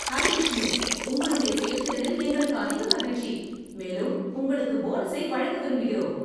Hi Vishnu, உங்களுடைய செயல்திறனில் எங்களுக்கு அதிக மகிழ்ச்சி, மேலும் உங்களுக்கு போனஸை வழங்க விரும்புகிறோம்.